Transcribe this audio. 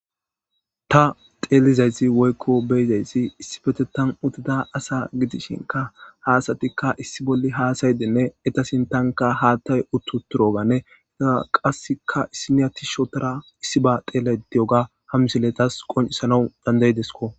Ta xeelizayti woykko beyizaysi issifete tan utida asa gidishinka haasatikka issi bolli haasayidinne etasin tanka haattay uttu turoganne ita qasseka issiniyati shotora issi ba teelaytiyoga hammisiletas qoncisana dandayidesko.